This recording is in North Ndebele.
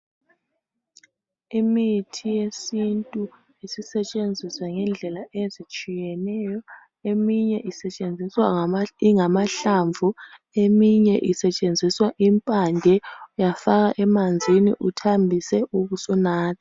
Imithi yesintu isisetshenziswa ngendlela ezitshiyeneyo, eminye isetshenziswa ingamahlamvu, eminye isetshenziswa impande. Uyafaka emanzini uthambise ubusunatha.